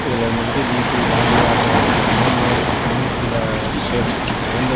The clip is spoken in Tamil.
இதுல வந்துகிட்டு வீ_டூ வேல்யூ ஆடட் அப்படிங்கற மாரி இன்னொரு கம்பெனியும் கீழ சேல்ஸ்க்கு வச்சிருக்காங்க இந்த--